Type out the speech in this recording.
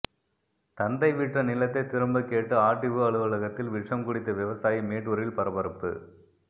தந்தை விற்ற நிலத்தை திரும்ப கேட்டு ஆர்டிஓ அலுவலகத்தில் விஷம் குடித்த விவசாயி மேட்டூரில் பரபரப்பு